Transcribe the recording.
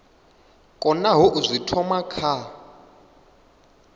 konaho u zwi thoma kha